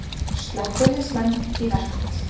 Slökkviliðsmenn í verkfall